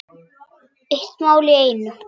Eitt mál í einu.